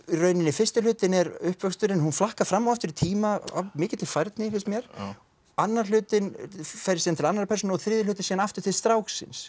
rauninni fyrsti hlutinn er uppvöxturinn hún flakkar fram og aftur í tíma af mikilli færni finnst mér annar hlutinn færist til annarrar persónu og þriðji hlutinn síðan aftur til stráksins